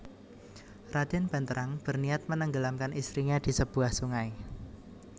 Raden Banterang berniat menenggelamkan istrinya di sebuah sungai